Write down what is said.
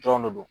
Dɔrɔn de do